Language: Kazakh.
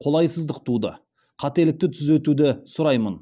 қолайсыздық туды қателікті түзеуді сұраймын